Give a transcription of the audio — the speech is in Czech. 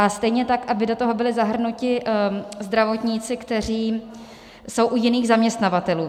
A stejně tak aby do toho byli zahrnuti zdravotníci, kteří jsou u jiných zaměstnavatelů.